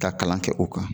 Ka kalan kɛ o kan